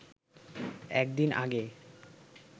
একদিন আগে